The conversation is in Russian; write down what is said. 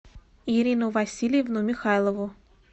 ирину васильевну михайлову